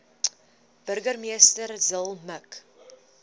burgemeester zille mik